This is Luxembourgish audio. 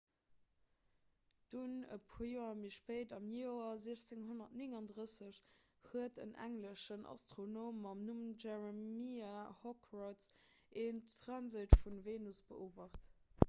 dunn e puer joer méi spéit am joer 1639 huet en engleschen astronom mam numm jeremiah horrocks en transit vun der venus beobacht